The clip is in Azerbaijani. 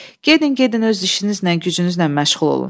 Gedin, gedin öz işinizlə, gücünüzlə məşğul olun.